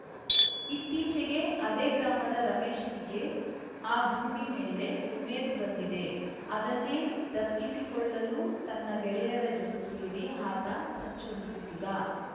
ಇತ್ತೀಚಿಗೆ ಅದೇ ಗ್ರಾಮದ ರಮೇಶ್‌ನಿಗೆ ಆ ಭೂಮಿ ಮೇಲೆ ಉಮೇದು ಬಂದಿದೆ ಅದನ್ನೇ ದಕ್ಕಿಸಿಕೊಳ್ಳಲು ತನ್ನ ಗೆಳೆಯರ ಜತೆ ಸೇರಿ ಆತ ಸಂಚು ರೂಪಿಸಿದ್ದ